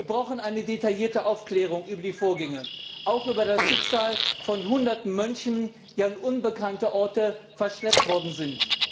Wir brauchen eine detaillierte Aufklärung der Vorgänge, auch über das Schicksal von Hunderten Mönchen, die an unbekannte Orte verschleppt worden sind.